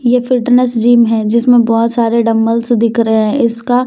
यह fitness gym है जिसमें बहुत सारे डंबल्स दिख रहे हैं इसका--